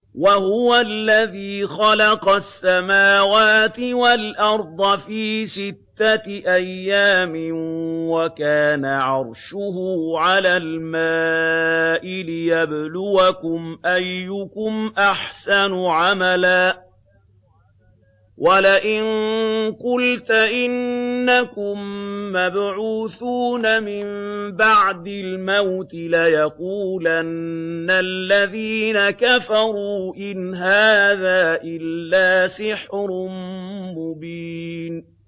وَهُوَ الَّذِي خَلَقَ السَّمَاوَاتِ وَالْأَرْضَ فِي سِتَّةِ أَيَّامٍ وَكَانَ عَرْشُهُ عَلَى الْمَاءِ لِيَبْلُوَكُمْ أَيُّكُمْ أَحْسَنُ عَمَلًا ۗ وَلَئِن قُلْتَ إِنَّكُم مَّبْعُوثُونَ مِن بَعْدِ الْمَوْتِ لَيَقُولَنَّ الَّذِينَ كَفَرُوا إِنْ هَٰذَا إِلَّا سِحْرٌ مُّبِينٌ